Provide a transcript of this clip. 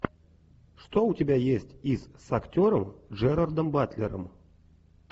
что у тебя есть из с актером джерардом батлером